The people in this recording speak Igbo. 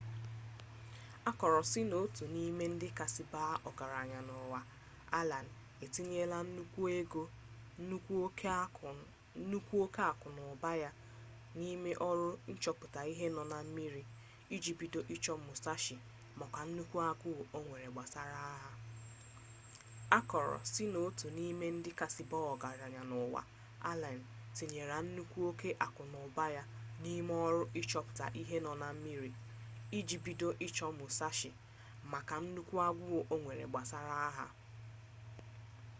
akoro si n'otu n'ime ndi kasi baa ogaranya n'uwa allen etinyela nnukwu oke aku n'uba ya n'ime oru nchoputa ihe no na mmiri iji bido icho musashi maka nnukwu aguu onwere gbasara agha